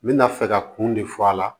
N bɛna fɛ ka kun de fɔ a la